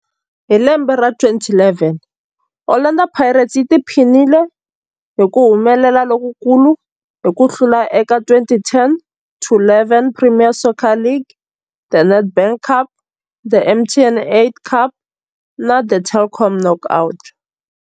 Hi lembe ra 2011, Orlando Pirates yi tiphinile hi ku humelela lokukulu hi ku hlula eka 2010-11 Premier Soccer League, The Nedbank Cup, The MTN 8 Cup na The Telkom Knockout.